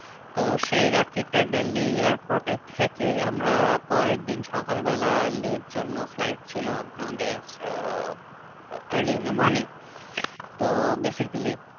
তো রাত্রিটা দিল্লি airport এ থেকে আমরা পরেরদিন সকাল বেলা লে এর জন্য flight ছিল আম আমাদের আহ early morning তো basically